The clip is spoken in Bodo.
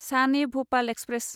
सान ए भपाल एक्सप्रेस